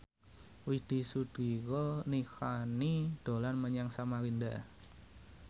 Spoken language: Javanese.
Widy Soediro Nichlany dolan menyang Samarinda